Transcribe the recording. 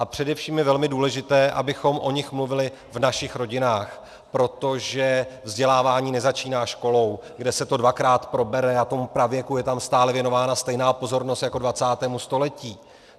A především je velmi důležité, abychom o nich mluvili v našich rodinách, protože vzdělávání nezačíná školou, kde se to dvakrát probere a tomu pravěku je tam stále věnována stejná pozornost jako 20. století.